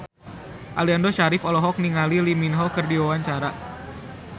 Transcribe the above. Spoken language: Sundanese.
Aliando Syarif olohok ningali Lee Min Ho keur diwawancara